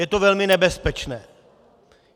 Je to velmi nebezpečné.